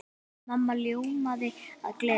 Mamma ljómaði af gleði.